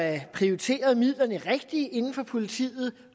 er prioriteret rigtigt inden for politiet